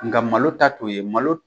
Nga malo ta t'o ye malo